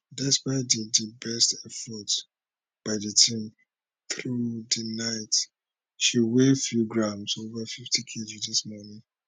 despite di di best efforts by di team through di night she weigh few grams ova 50kg dis morning